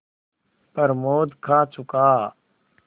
प्रमोद खा चुका